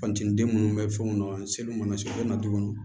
Fanteni den munnu bɛ fɛnw na seliw mana se u bɛ na dugu kɔnɔ